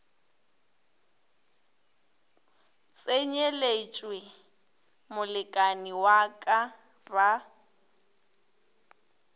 tsenyeletšwe molekani wa ka ba